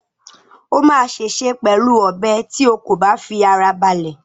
O máa ṣèṣe pẹ̀lú ọ̀bẹ tí o kò bá fi ara balẹ̀